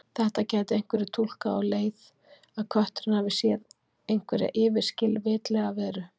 Þetta gætu einhverjir túlkað á þá leið að kötturinn hafi séð einhverja yfirskilvitlega veru.